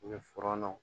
U bɛ fɔnɔw